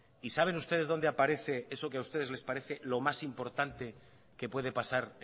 y saben ustedes dónde aparece eso que a ustedes les parece lo más importante que puede pasar